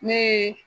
Ne ye